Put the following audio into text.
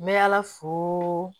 N bɛ ala fo